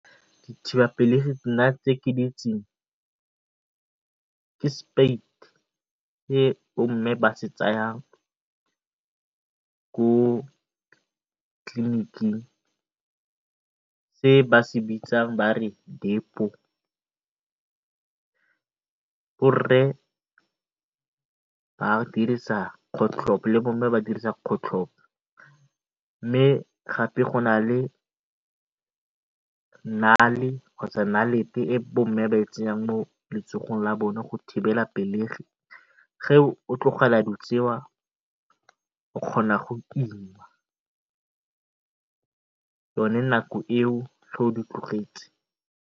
nna tse ke di itseng ke se bo mme ba se tsayang ko tliliniking se ba se bitsang ba re Depo. Borre ba dirisa kgotlhopo le bomme ba dirisa kgotlhopo mme gape go na le e bomme ba e tsenyang mo letsogong la bone go thibela pelegi. Ge o tlogela dilo tse o kgona go ima yone nako eo ge o di tlogetse.